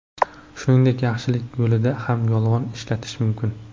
Shuningdek, yaxshilik yo‘lida ham yolg‘on ishlatish mumkin.